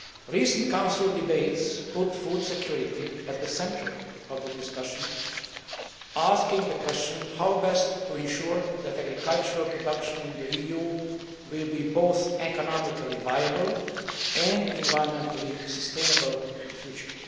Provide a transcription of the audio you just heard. Recent Council debates put food security at the centre of the discussion, asking the question how best to ensure that agricultural production in the EU will be both economically viable and environmentally sustainable in the future.